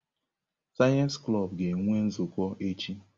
Sayensị klọb ga-enwe nzukọ echi.